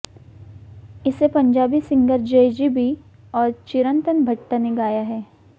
इसे पंजाबी सिंगर जैज़ी बी और चिरंतन भट्ट ने गाया है